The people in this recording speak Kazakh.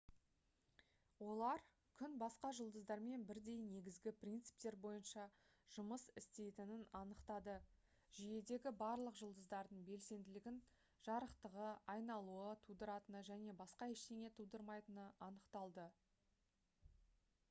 олар күн басқа жұлдыздармен бірдей негізгі принциптер бойынша жұмыс істейтінін анықтады жүйедегі барлық жұлдыздардың белсенділігін жарықтығы айналуы тудыратыны және басқа ештеңе тудырмайтыны анықталды